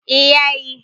eh ya yi